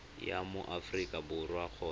wa mo aforika borwa kgotsa